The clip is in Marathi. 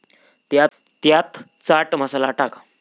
त्यात चाट मसाला टाका.